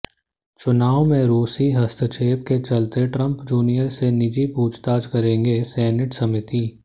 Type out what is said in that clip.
चुनाव में रूसी हस्तक्षेप के चलते ट्रंप जूनियर से निजी पूछताछ करेगी सीनेट समीति